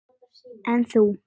En þú.